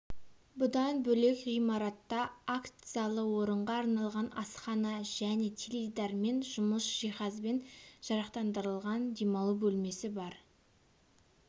бұдан бөлек ғимаратта акт залы орынға арналған асхана және теледидармен жұмсақ жиһазбен жарақтандырылған демалу бөлмесі бар